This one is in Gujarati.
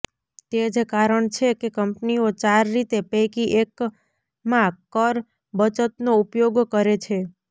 તે જ કારણ છે કે કંપનીઓ ચાર રીતે પૈકી એકમાં કર બચતનો ઉપયોગ કરે છે